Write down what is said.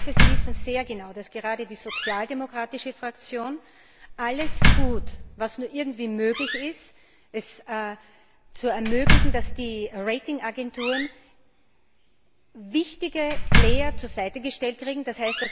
Und ich hoffe, Sie wissen sehr genau, dass gerade die sozialdemokratische Fraktion alles tut, was nur irgendwie möglich ist, um es zu ermöglichen, dass die Ratingagenturen wichtige zur Seite gestellt kriegen, d.